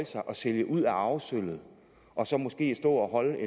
sig og sælge ud af arvesølvet og så måske stå og holde